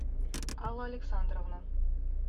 алла александровна